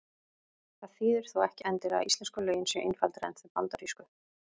Það þýðir þó ekki endilega að íslensku lögin séu einfaldari en þau bandarísku.